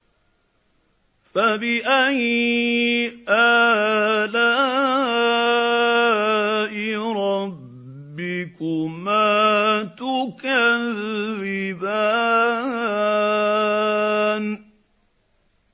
فَبِأَيِّ آلَاءِ رَبِّكُمَا تُكَذِّبَانِ